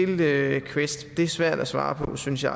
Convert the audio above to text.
det er svært at svare på synes jeg